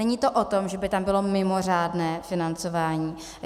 Není to o tom, že by tam bylo mimořádné financování.